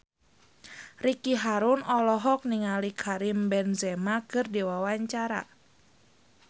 Ricky Harun olohok ningali Karim Benzema keur diwawancara